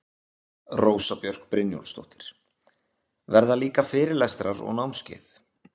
Rósa Björk Brynjólfsdóttir: Verða líka fyrirlestrar og námskeið?